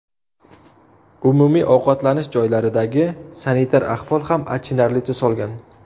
Umumiy ovqatlanish joylaridagi sanitar ahvol ham achinarli tus olgan.